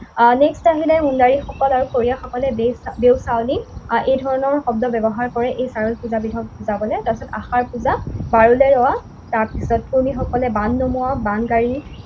Next আহিলে উঙাৰিসকল আৰু খৰীয়াসকলে দেওচাউলী, এই ধৰণৰ শব্দ ব্যৱহাৰ কৰে। এই চাৰুল পূজাবিধক বুজাবলে। তাৰপিছত আশাৰ পূজা, তাৰপিছত কুৰ্মীসকলে বান নমোৱা, বানগায়ী